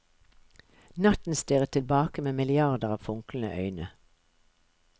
Natten stirret tilbake med milliarder av funklende øyne.